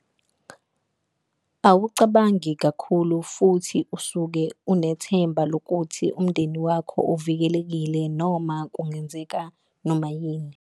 Awucabangi kakhulu futhi usuke unethemba lokuthi umndeni wakho uvikelekile noma kungenzeka noma yini.